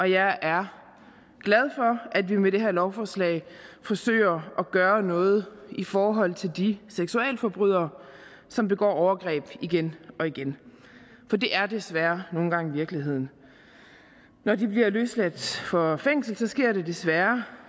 jeg er glad for at vi med det her lovforslag forsøger at gøre noget i forhold til de seksualforbrydere som begår overgreb igen og igen for det er desværre nogle gange virkeligheden når de bliver løsladt fra fængslet sker det desværre